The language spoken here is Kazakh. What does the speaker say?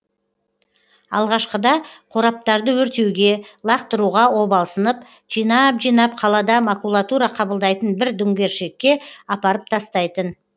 алғашқыда қораптарды өртеуге лақтыруға обалсынып жинап жинап қалада макулатура қабылдайтын бір дүңгершекке апарып тастайтын